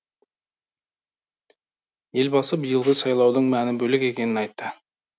елбасы биылғы сайлаудың мәні бөлек екенін айтты